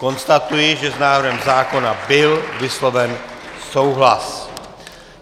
Konstatuji, že s návrhem zákona byl vysloven souhlas.